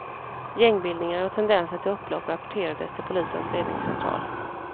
Gängbildningar och tendenser till upplopp rapporterades till polisens ledningscentral.